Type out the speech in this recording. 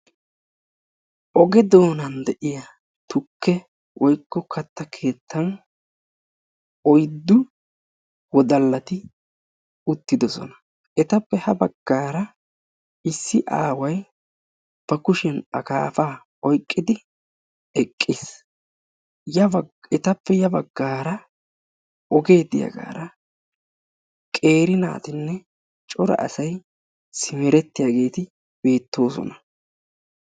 Oge doonan de'iya tukke woyikko katta keettan oyiddu wodallati uttidosona. Etappe ha baggaara issi aaway ba kushiyan akaafaa oyiqidi eqqis. Yabaggan etappe ya baggaara ogee diyagaara qeeri naatinne cora asay simerettiyageeti beettoosona.